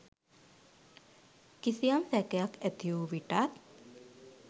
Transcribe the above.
කිසියම් සැකයක් ඇතිවූ විටත්